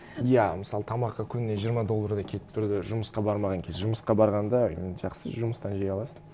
иә мысалы тамаққа күніне жиырма доллардай кетіп тұрды жұмысқа бармаған кез жұмысқа барғанда жақсы жұмыстан жей аласың